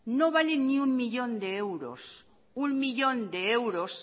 no vale ni uno millón de euros uno millón de euros